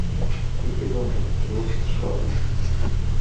тихий дон производство сша